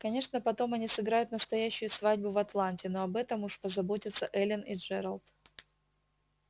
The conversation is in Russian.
конечно потом они сыграют настоящую свадьбу в атланте но об этом уж позаботятся эллин и джералд